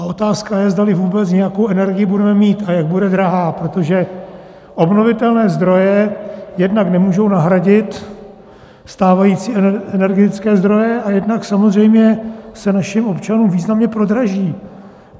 A otázka je, zdali vůbec nějakou energii budeme mít a jak bude drahá, protože obnovitelné zdroje jednak nemůžou nahradit stávající energetické zdroje a jednak samozřejmě se našim občanům významně prodraží.